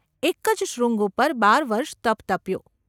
એક જ શૃંગ ઉપર બાર વર્ષ તપ તપ્યો.